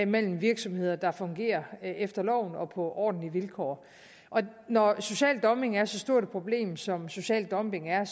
mellem virksomheder der fungerer efter loven og på ordentlige vilkår når social dumping er så stort et problem som social dumping er